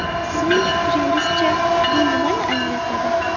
Sizning fikringizcha, bu nimani anglatadi?